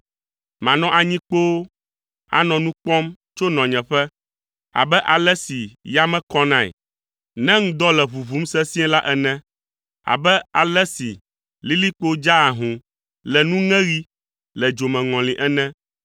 “Manɔ anyi kpoo anɔ nu kpɔm tso nɔnyeƒe abe ale si yame kɔnae ne ŋdɔ le ʋuʋum sesĩe la ene, abe ale si lilikpo dzaa ahũ le nuŋeɣi le dzomeŋɔli ene.”